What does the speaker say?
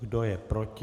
Kdo je proti?